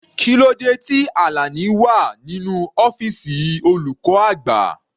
Kílódé tí Alani wà nínú ọ́fìsì olùkọ́ àgbà?